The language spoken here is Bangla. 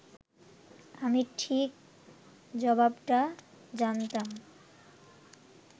আমি ঠিক জবাবটা জানতাম